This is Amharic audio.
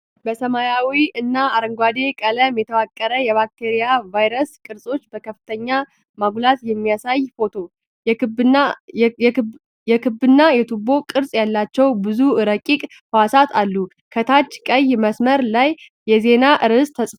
በሰማያዊና አረንጓዴ ቀለም የተዋቀረ፣ የባክቴሪያና የቫይረስ ቅርጾች በከፍተኛ ማጉላት የሚያሳየ ፎቶ። የክብና የቱቦ ቅርጽ ያላቸው ብዙ ረቂቅ ህዋሳት አሉ። ከታች ቀይ መስመር ላይ የዜና ርዕስ ተጽፏል።